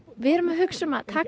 við erum að hugsa um að taka